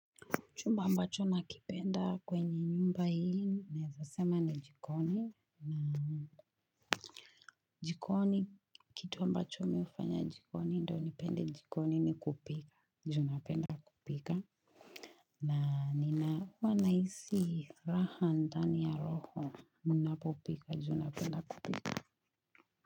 Chumba ambacho nakipenda kwenye nyumba hii, naeza sema ni jikoni. Na jikoni, kitu ambacho mi hufanya jikoni, ndo nipende jikoni ni kupika. Ju napenda kupika. Na nina huwa nahisi raha ndani ya roho. Munapopika, ju napenda kupika.